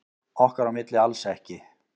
Okkar á milli alls ekki.